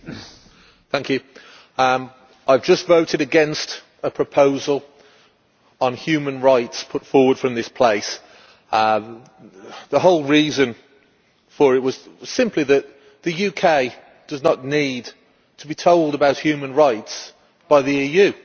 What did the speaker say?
Mr President, I have just voted against a proposal on human rights put forward in this place. The whole reason for it was simply that the UK does not need to be told about human rights by the EU.